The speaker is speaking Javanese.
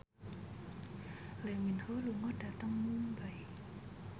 Lee Min Ho lunga dhateng Mumbai